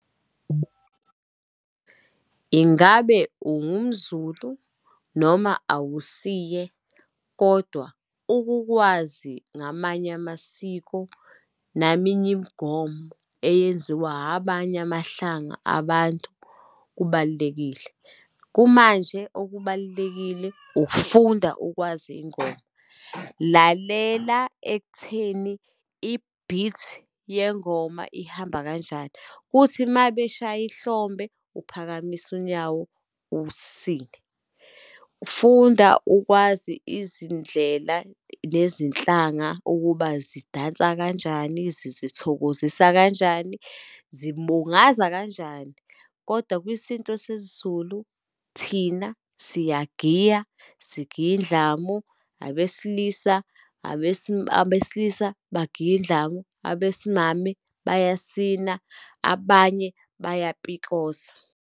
Ingabe ungumZulu, noma awusiye kodwa ukukwazi ngamanye amasiko, naminye imigomo eyenziwa habanye amahlanga abantu, kubalulekile. Kumanje okubalulekile ukufunda ukwazi iy'ngoma, lalela ekutheni i-beat yengoma ihamba kanjani, kuthi uma beshaya ihlombe, uphakamise unyawo, usine. Funda ukwazi izindlela nezinhlanga ukuba zidansa kanjani, zizithokozisa kanjani, zimbungaza kanjani. Kodwa kwisintu sesiZulu, thina siyagiya, sigiya indlamu. Abesilisa, abesilisa bagiya indlamu, abesimame bayasina, abanye bayapikosa.